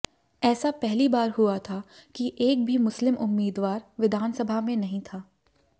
ऐसा पहली बार हुआ था कि एक भी मुस्लिम उम्मीदवार विधानसभा में नहीं था